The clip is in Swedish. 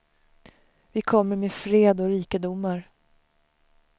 Vi kommer med fred och rikedomar.